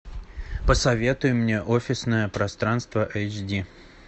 посоветуй мне офисное пространство эйч ди